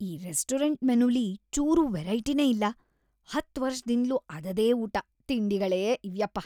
ಈ ರೆಸ್ಟೋರೆಂಟ್ ಮೆನುಲಿ ಚೂರೂ ವೆರೈಟಿನೇ ಇಲ್ಲ, ಹತ್ತ್‌ ವರ್ಷದಿಂದ್ಲೂ ಅದದೇ ಊಟ, ತಿಂಡಿಗಳೇ ಇವ್ಯಪ್ಪ.